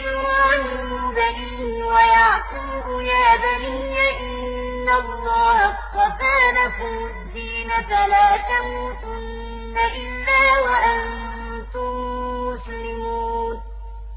إِبْرَاهِيمُ بَنِيهِ وَيَعْقُوبُ يَا بَنِيَّ إِنَّ اللَّهَ اصْطَفَىٰ لَكُمُ الدِّينَ فَلَا تَمُوتُنَّ إِلَّا وَأَنتُم مُّسْلِمُونَ